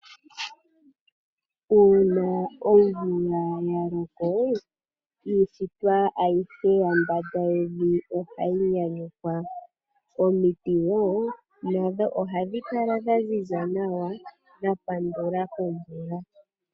Uuna omvula ya loko iishitwa ayihe yambanda yevi oha yi nyanyukwa omiti wo nadho oha dhi kala dha ziza nawa dha pandula komvula.